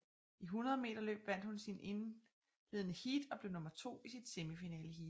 I 100 meterløb vandt hun sit indledende heat og blev nummer to i sit semifinaleheat